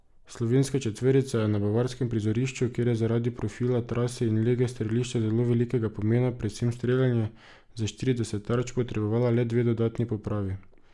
Slovenska četverica je na bavarskem prizorišču, kjer je zaradi profila trase in lege strelišča zelo velikega pomena predvsem streljanje, za štirideset tarč potrebovala le dve dodatni popravi.